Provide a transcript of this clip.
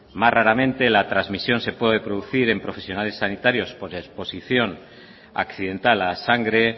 más raramente la trasmisión se pude producir en profesionales sanitarios por deposición accidental a sangre